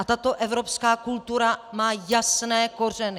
A tato evropská kultura má jasné kořeny.